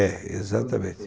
É, exatamente.